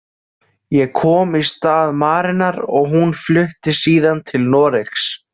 Ég kom í stað Marenar og hún flutti síðan til Noregs.